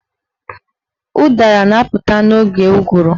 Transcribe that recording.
Ụdara na-apụta n'oge ụgụrụ.